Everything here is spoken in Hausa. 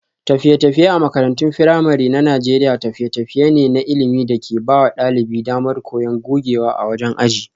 Tafiye-tafiye a makarantun firamare na Najeriya tafiye-tafiye ne na ilimi da ke ba wa ɗalibai damar koyon gogewa a wajen aji.